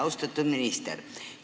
Austatud minister!